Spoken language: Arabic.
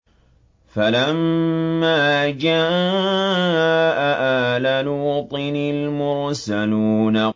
فَلَمَّا جَاءَ آلَ لُوطٍ الْمُرْسَلُونَ